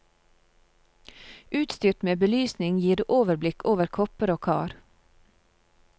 Utstyrt med belysning gir det overblikk over kopper og kar.